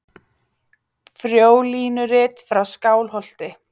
Frjólínurit frá Skálholti.